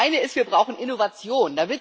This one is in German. Das eine ist Wir brauchen Innovationen.